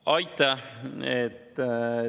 Aitäh!